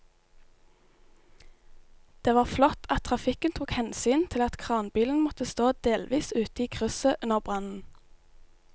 Det var flott at trafikken tok hensyn til at kranbilen måtte stå delvis ute i krysset under brannen.